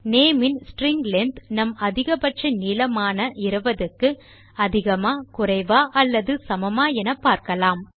name in string length நம் அதிக பட்ச நீளமான 20 க்கு அதிகமா குறைவா அல்லது சமமா என்று பார்க்கலாம்